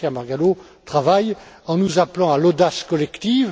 García Margallo travaille en nous appelant à l'audace collective.